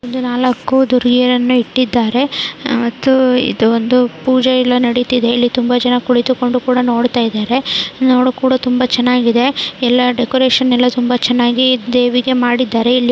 ಇಲ್ಲಿ ನಾಲಕ್ಕು ದುರ್ಗೆಯರನ್ನ ಇಟ್ಟಿದಾರೆ ಆಹ್ ಮತ್ತು ಇದು ಒಂದು ಪೂಜೆಯೆಲ್ಲಾ ನಡೀತಾ ಇದೆ. ತುಂಬಾ ಜನ ಕುಳಿತಿಕೊಂಡು ನೋಡತಾ ಇದ್ದಾರೆ ನೋಡಕೂ ತುಂಬಾ ಚೆನ್ನಾಗಿ ಇದೆ. ಎಲ್ಲಾ ಡೆಕೋರೇಷನ್ ಎಲ್ಲಾ ತುಂಬಾ ಚೆನ್ನಾಗಿ ಇದೆ ದೇವಿಗೆ ಮಾಡಿದ್ದಾರೆ.